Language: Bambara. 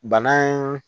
Bana in